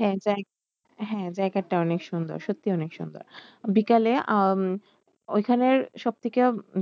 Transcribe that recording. হ্যাঁ হ্যাঁ জায়গাটা অনেক সুন্দর সত্যি অনেক সুন্দর বিকালে উম ওইখানে সব থেকে